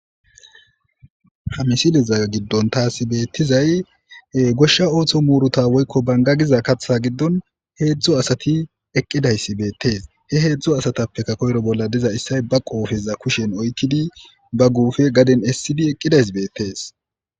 Ha misileza giddon thaassi beeththizay ee goshsha ooso muurutha woykko bangga giza kaththa giddon heedzdzo asathi eqqidayssi beeththees; he heedzdzu asathappekka koyro bolla diza issay ba qoofeza kushen oykkidi ba guufe gaden essidi eqqidays beeththees.